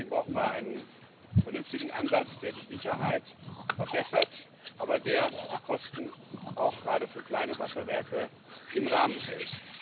Deswegen brauchen wir einen vernünftigen Ansatz, der die Sicherheit verbessert, der aber die Kosten gerade auch für kleine Wasserwerke im Rahmen hält.